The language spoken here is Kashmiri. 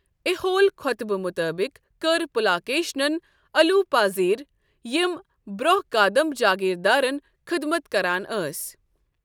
ایہول خوطبہٕ مطٲبق، کٕرِ پُلاکیشِنن الوپا زیر، یِم برونہہ کادمب جٲگیردارن خدمت کران ٲسۍ۔